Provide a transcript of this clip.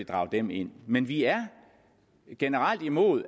drage dem ind men vi er generelt imod